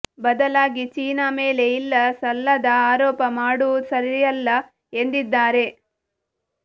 ಬದಲಾಗಿ ಚೀನಾ ಮೇಲೆ ಇಲ್ಲ ಸಲ್ಲದ ಆರೋಪ ಮಾಡುವು ಸರಿಯಲ್ಲ ಎಂದಿದ್ದಾರೆ